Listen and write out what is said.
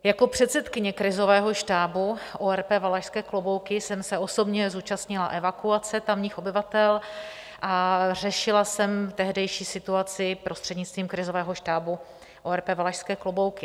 Jako předsedkyně krizového štábu ORP Valašské Klobouky jsem se osobně zúčastnila evakuace tamních obyvatel a řešila jsem tehdejší situaci prostřednictvím krizového štábu ORP Valašské Klobouky.